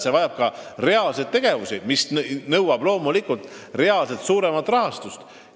See vajab ka reaalseid tegevusi, mis nõuab loomulikult reaalselt suuremat rahastust.